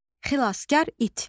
Xilaskar it.